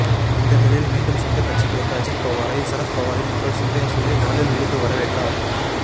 இந்த நிலையில் மீண்டும் சொந்த கட்சிக்கு வந்த அஜீத்பவாரை சரத்பவாரின் மகள் சுப்ரியா சுலே காலில் விழுந்து வரவேற்றார்